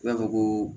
I b'a fɔ ko